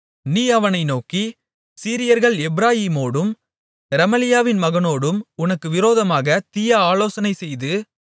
நீ அவனை நோக்கி சீரியர்கள் எப்பிராயீமோடும் ரெமலியாவின் மகனோடும் உனக்கு விரோதமாக தீய ஆலோசனைசெய்து